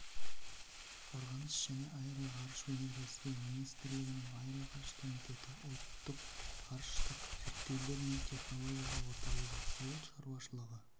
қорғаныс және аэроғарыш өнеркәсібі министрлігінің аэроғарыш комитеті ұлттық ғарыштық зерттеулер мен технологиялар орталығы ауыл шаруашылығы